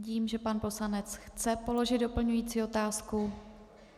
Vidím, že pan poslanec chce položit doplňující otázku.